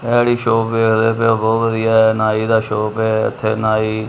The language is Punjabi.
ਇਹ ਜਿਹੜੀ ਸ਼ੋਪ ਬਹੁਤ ਵਧੀਆ ਨਾਈ ਦਾ ਸ਼ੋਪ ਐ ਇਥੇ ਨਾਈ --